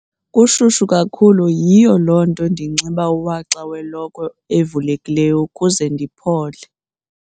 Kushushu kakhulu yiloo nto ndinxiba uwaxa welokhwe evulekileyo ukuze ndiphole.